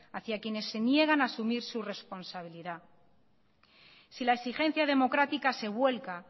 hacia a quienes se niegan a asumir su responsabilidad si la exigencia democrática se vuelca